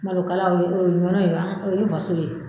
Malokala o ye ɲɔnɔ ye o ye faso ye